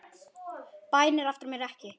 Bænir aftra mér ekki.